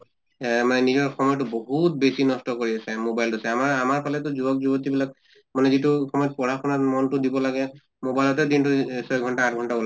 এহ আমাৰ নিজৰ সময়্তো বহুত বেছি নষ্ট কৰি কৰি আছে mobile তো চাই আমাৰ আমাৰ ফালেতো যুৱক যৱতী বিলাক মানে যিটো সময়ত পঢ়া শুনাত মনটো দিব লাগে mobile তে দিনটো এহ ছয় ঘন্টা আঠ ঘন্টা ওলাই